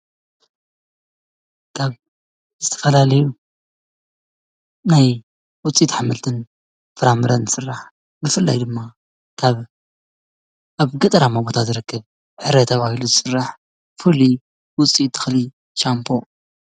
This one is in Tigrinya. እዚ ካብ ዕረ ዝበሃል እፅዋት ዝስራሕ ኮይኑ ንመሕፀቢ ንጥቀመሉ ሻምፖ እዩ።